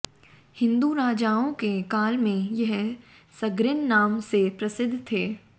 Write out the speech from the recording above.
हिंदू राजाओं के काल में यह सर्गिन नाम से प्रसिद्ध था